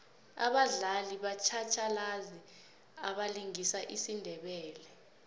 abadlali batjhatjhalazi abalingisa isindebele